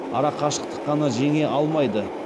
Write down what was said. арақашықтық қана жеңе алмайды